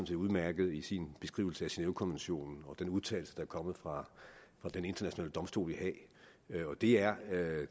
set udmærket i sin beskrivelse af genèvekonventionen og den udtalelse der er kommet fra den internationale domstol i haag det er